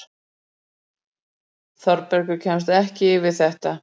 Þórbergur kemst ekki yfir þetta.